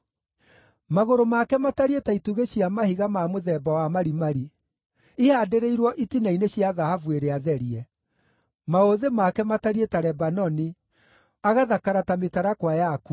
Magũrũ make matariĩ ta itugĩ cia mahiga ma mũthemba wa marimari, ihaandĩrĩirwo itina-inĩ cia thahabu ĩrĩa therie. Maũthĩ make matariĩ ta Lebanoni, agathakara ta mĩtarakwa yakuo.